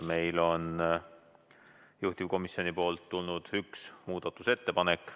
Meile on juhtivkomisjonilt tulnud üks muudatusettepanek.